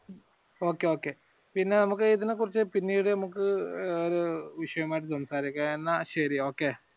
okay okay പിന്നെ നമുക്ക് ഇതിനെ കുറിച്ച് പിന്നീട് നമുക്ക് വിഷയമായി സംസാരിക്കാം എന്ന ശരി.